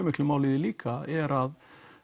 miklu máli líka er að